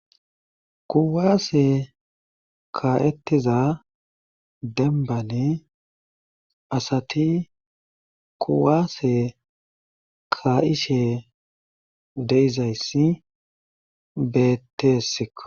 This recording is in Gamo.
Kuwaase kaa'etiza dembani asati kuwaase kaa'ishe de'izayssi beeteesikko.